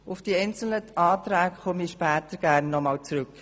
Auf die einzelnen Anträge komme ich später gerne noch einmal zurück.